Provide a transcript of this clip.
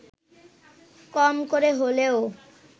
কম করে হলেও